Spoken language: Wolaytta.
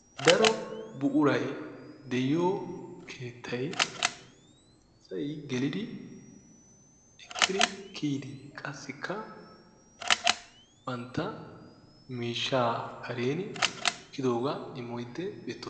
Daro buquray de'iyo keettay asay gelidi ekkidi kiyidi qassikka bantta miishshaa kareeni wottidoogaa immiddi beettes.